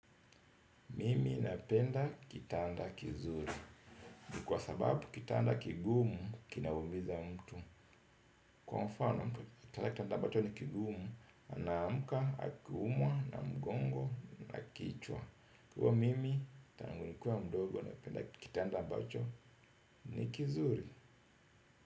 Mimi napenda kitanda kizuri kwa sababu kitanda kigumu kinaumiza mtu. Kwa mfano mtu kala kitanda ambacho ni kigumu. Na amka, akiumwa, na mgongo, na kichwa. Kwa mimi, tanangunikuwa mdogo napenda kitanda mbacho ni kizuri.